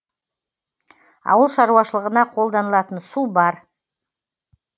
ауыл шаруашылығына қолданылатын су бар